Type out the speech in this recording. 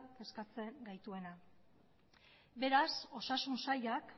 kezkatzen gaituena beraz osasun sailak